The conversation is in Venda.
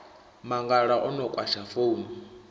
mangala a no kwasha founu